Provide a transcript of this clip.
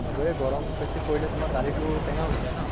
গৈয়ে গৰম বেছি পৰিলে তোমাৰ দালি টো টেঙ্গা হৈ যায় ন?